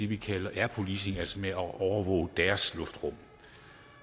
vi kalder air policing altså med at overvåge deres luftrum